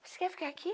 Você quer ficar aqui?